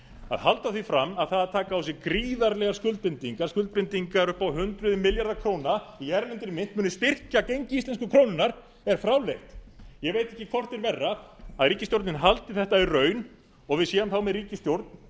að halda því fram að það að taka á sig gríðarlegar skuldbindingar skuldbindingar upp á hundruð milljarða króna í erlendri mynt muni styrkja gengi íslensku krónunnar er fráleitt ég veit ekki hvort er verra að ríkisstjórnin haldi þetta í raun og við séum þá með ríkisstjórn